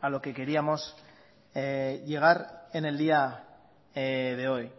a lo que queríamos llegar en el día de hoy